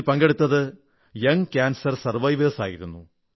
ഇതിൽ പങ്കെടുത്തത് കാൻസറിനെ അതിജീവിച്ച കുട്ടികളായിരുന്നു